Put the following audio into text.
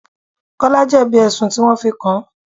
Kọ́lá jebi ẹ̀sùn tí wọn fi kàn.